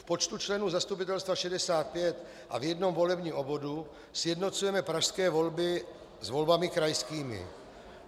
V počtu členů zastupitelstva 65 a v jednom volebním obvodu sjednocujeme pražské volby s volbami krajskými.